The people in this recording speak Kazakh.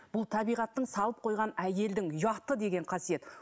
бұл табиғаттың салып қойған әйелдің ұяты деген қасиет